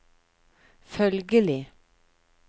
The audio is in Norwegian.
følgelig